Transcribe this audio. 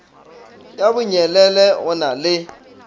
ya bonyelele go na le